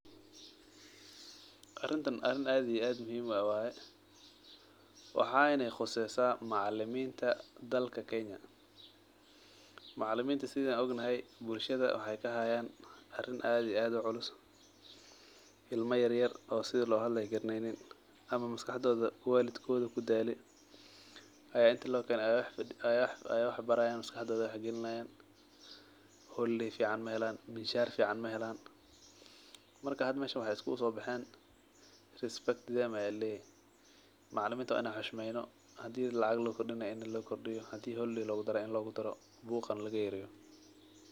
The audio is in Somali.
Arinta arin aad iyo aad muhiim u ah waye waxena quseysa macaliminta dalka kenya macaliminta sidhan ognahay bulshada waxee kahayan atin aad iyo aad u culus ilma yar yar oo sitha lo hadlayo garaneynin ama maskacdodha walidkodha kudale aya intaaskaxdodha wax gelinaya ee wax barayan holiday fican mahelan mishar fican mahelan marka hada meshan maxee iskuguso bexen respect them aya laleyahay marka macalinta waa in an xushmeyno hadii lacag lo kordinayo waa in an u kordina hadii holiday logu darayo in logu daro buqana laga yareyo.